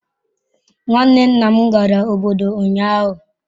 Nwanne nna m gara obodo ụnyahụ.